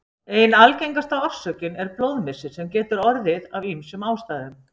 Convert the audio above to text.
Ein algengasta orsökin er blóðmissir sem getur orðið af ýmsum ástæðum.